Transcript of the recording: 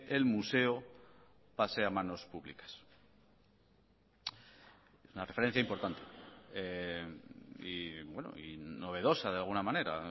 el museo pase a manos públicas una referencia importante y novedosa de alguna manera